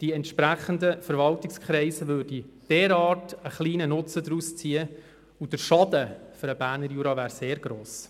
Die entsprechenden Verwaltungskreise würden einen derart kleinen Nutzen daraus ziehen, und der Schaden für den Berner Jura wäre sehr gross.